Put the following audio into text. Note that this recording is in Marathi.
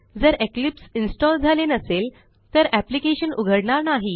जर इक्लिप्स इन्स्टॉल झाले नसेल तर एप्लिकेशन उघडणार नाही